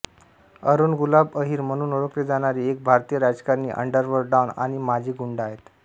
अरुण गुलाब अहिर म्हणून ओळखले जाणारे एक भारतीय राजकारणी अंडरवर्ल्ड डॉन आणि माजी गुंड आहेत